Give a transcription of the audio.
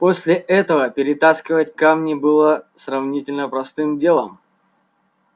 после этого перетаскивать камни было сравнительно простым делом